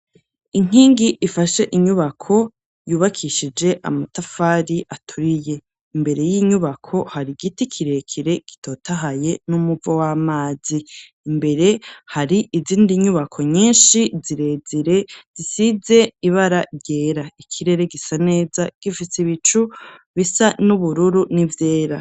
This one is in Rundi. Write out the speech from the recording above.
Inkingi ifashe inyubako, yubakishije amatafari aturiye ,imbere y'inyubako har'igiti kirekere gitotahaye, n'umuvo w'amazi ,imbere hari izindi nyubako nyinshi zirezire, zisize ibara ryera ,ikirere gisa neza gifutse ibicu bisa n'ubururu, n'ivyera.